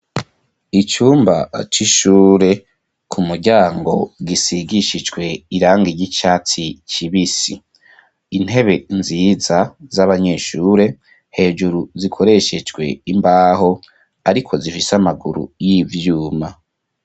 Icumba c'ishure, ku muryango gisigishijwe irangi ig'icatsi kibisi. Intebe nziza z'abanyeshure hejuru zikoreshejwe imbaho ariko zifise amaguru y'ivyuma.